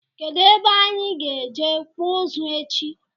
Kedụ ebe anyị ga-eje kpụọ ụzụ echi?